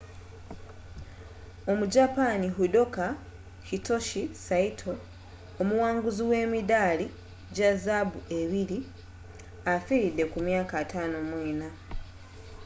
omujapani judoka hitoshi saito omuwanguzi w’emidaali gya zaabu ebiri, afiiridde ku myaka 54